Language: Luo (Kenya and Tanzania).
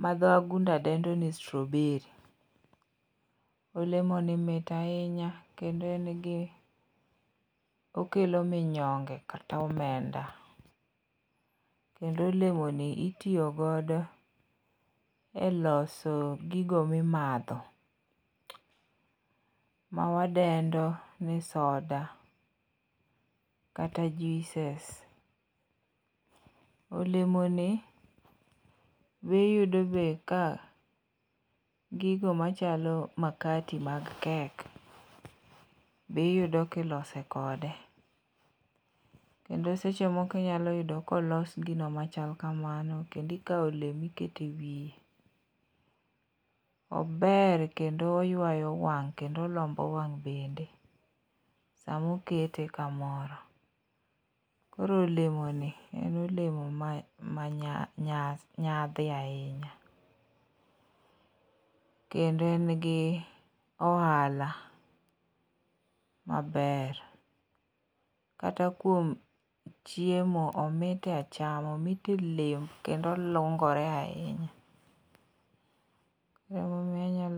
ma dho wagunda dendo ni straw berry. Olemoni mit ahinya kendo en gi okelo minyonge kata omenda, kendo olemoni itiyo godo e loso gigo mimadho, mawadendo ni soda kata juices. Olemoni iyudo be ka, gigo machalo makati mag cake be iyudo kiloso kode, kendo seche moko inyalo yudo kolos gino machal kamano, kendo ikawo olemo iketo e wiye. Ober kendo oywayo wang' kendo olombo wang' bende, samokete kamoro. Koro olemoni en olemo ma nyadhi ahinya, kendo en gi ohala maber, kata kuom chiemo, omit e achama, omit e lemb kendo olungore ahinya. Emomiyo inyalo